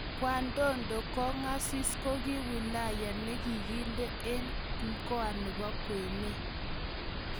kyandondo kongasis koki wilaya nekindee en mkoa nepo kwenee